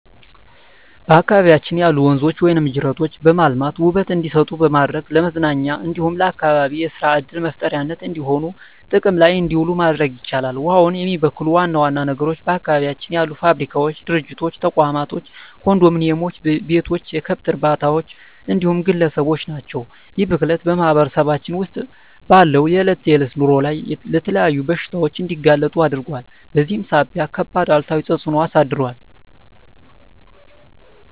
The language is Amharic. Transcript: በአካባቢያችን ያሉ ወንዞች ወይም ጅረቶችን በማልማት ውበት እንዲሰጡ በማድረግ ለመዝናኛ እንዲሁም ለአካባቢ የሰራ ዕድል መፍጠሪያነት እንዲሆኑ ጥቅም ላይ እንዲውሉ ማድረግ ይቻላል። ውሃውን የሚበክሉ ዋና ዋና ነገሮች በአካባቢያችን ያሉ ፋብሪካዎች፣ ድርጅቶች፣ ተቋማቶች፣ ኮንዶሚኒዬም ቤቶች፣ የከብት እርባታዎች እንዲሁም ግለሰቦች ናቸው። ይህ ብክለት በማህበረሰባችን ውስጥ ባለው የዕለት ተዕለት ኑሮ ላይ ለተለያዩ በሽታዎች እንዲጋለጡ አድርጓል በዚህም ሳቢያ ከባድ አሉታዊ ተፅዕኖ አሳድሯል።